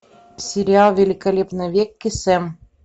сериал великолепный век кесем